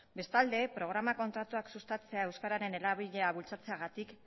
bestalde programa kontratuak sustatzea euskararen erabilera bultzatzeagatik